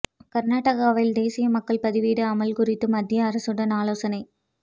கர்நாடகாவில் தேசிய குடிமக்கள் பதிவேடு அமல் குறித்து மத்திய அரசுடன் ஆலோசனை